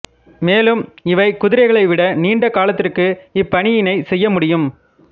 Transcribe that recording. மேலும் இவை குதிரைகளை விட நீண்ட காலத்திற்கு இப்பணியினைச் செய்ய முடியும்